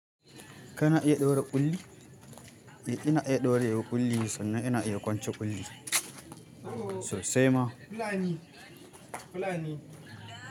Ka na iya daure ƙulli? Eh ina iya daure wa ƙulli sannan ina iya kwance ƙulli. So sai ma.